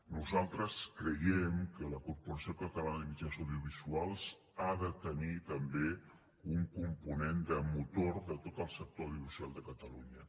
nosaltres creiem que la corporació catalana de mitjans audiovisuals ha de tenir també un component de motor de tot el sector audiovisual de catalunya